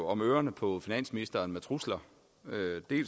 om ørerne på finansministeren med trusler